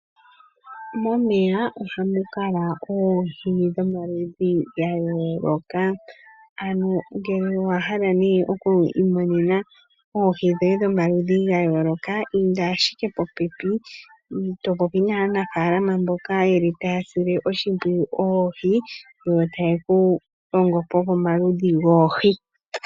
Momeya ohamu kala oohi dhomaludhi ga yooloka, ano ngele owa hala nee oku imonena oohi dhoye dhomaludhi ga yooloka, inda ashike popepi to popi naanafaalama mboka yeli taya sile oshimpwiyu oohi, yo taye ku longo po pomaludhi goohi.